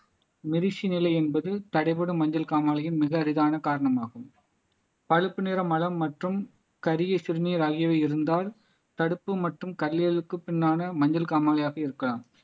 மெரிஸி நிலை என்பது தடைபடும் மஞ்சள் காமாலையும் மிக அரிதான காரணமாகும் பழுப்பு நிற மலம் மற்றும் கருகிய சிறுநீர் ஆகியவை இருந்தால் தடுப்பு மற்றும் கல்லீரலுக்கு பின்னான மஞ்சள் காமாலையாக இருக்கலாம்